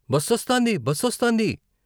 బస్సొస్తాంది బస్సొస్తాంది.